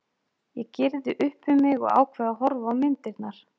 Ég gyrði upp um mig og ákveð að horfa á myndirnar.